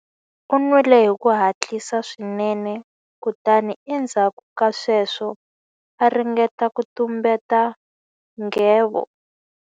U nwile hi ku hatlisa swinene kutani endzhaku ka sweswo a ringeta ku tumbeta nghevo.